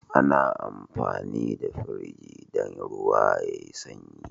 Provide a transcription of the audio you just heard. Ana amfani da Firji dan ruwa yayi sanyi